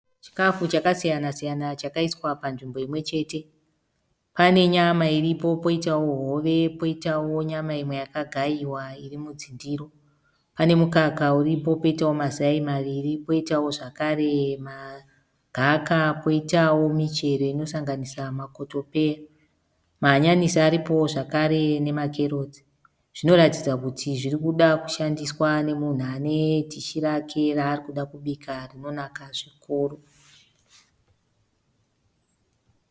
Chikafu chakasiyana siyana chakaiswa panzvimbo imwe chete. Pane nyama iripo poitawo hove poitawo nyama imwe yakagayiwa iri mudzindiro. Pane mukaka uripo poita mazai maviri poitawo zvakare magaka poitawo michero inosanganisa makotopeya. Mahanyanisi aripowo zvekare nemakerotsi. Zvinoratidza kuti zviri kuda kushandiswa nemunhu ane dhishi rake raarikuda kubika rinonaka zvikuru.